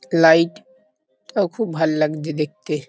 Light আ- খুব ভাল লাগছে দেখতে।